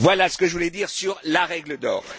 Voilà ce que je voulais dire sur la règle d'or.